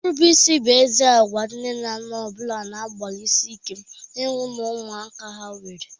Nrubeisi bụ ezi agwa nne na nna ọ bụla na-agbalịsị ike ịhụ na ụmụaka ha nwere.